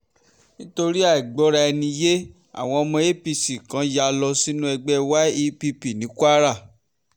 nítorí àìgbọ́ra-ẹni-yé àwọn ọmọ apc kan yá lọ sínú ẹgbẹ́ yepp ní kwara